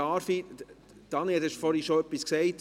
– Sie, Daniel Bichsel, haben vorhin schon etwas gesagt.